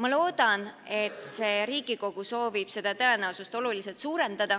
Ma loodan, et see Riigikogu soovib seda tõenäosust oluliselt suurendada